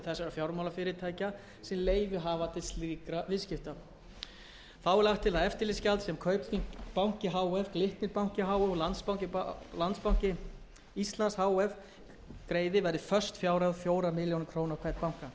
fjármálafyrirtækja sem leyfi hafa til slíkra viðskipta þá er lagt til að eftirlitsgjald það sem kaupþing banki h f glitnir banki h f og landsbanki íslands h f greiði verði föst fjárhæð fjórar milljónir króna á hvern